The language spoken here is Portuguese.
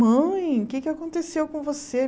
Mãe, o que é que aconteceu com você?